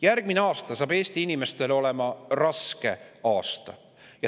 Järgmine aasta saab Eesti inimestele olema raske.